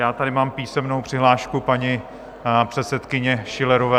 Já tady mám písemnou přihlášku paní předsedkyně Schillerové.